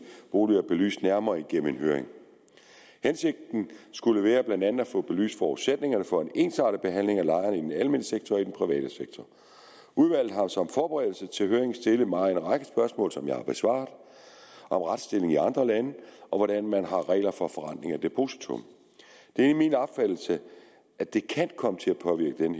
boliger belyst nærmere gennem en høring hensigten skulle blandt andet være at få belyst forudsætningerne for en ensartet behandling af lejerne i den almene sektor og den private sektor udvalget har som forberedelse til høringen stillet mig en række spørgsmål som jeg har besvaret om retsstillingen i andre lande og hvordan man har regler for forrentning af depositum det er min opfattelse at det kan komme til at påvirke den